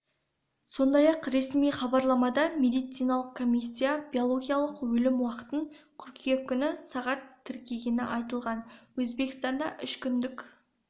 сондай-ақ ресми хабарламада медициналық комиссия биологиялық өлім уақытын қыркүйек күні сағат тіркегені айтылған өзбекстанда үш күндік